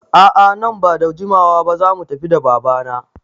A'a amma nan bada jimawa ba zamu tafi da baba na